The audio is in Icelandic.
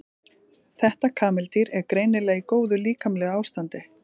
þetta kameldýr er greinilega í góðu líkamlegu ástandi